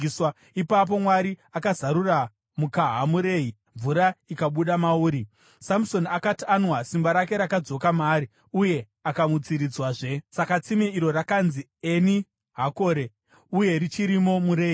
Ipapo Mwari akazarura mukaha muRehi, mvura ikabuda mauri. Samusoni akati anwa, simba rake rakadzoka maari uye akamutsiridzwazve. Saka tsime iro rakanzi Eni Hakore, uye richirimo muRehi.